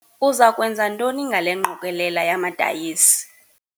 Uza kwenza ntoni ngale ngqokelela yamadayisi?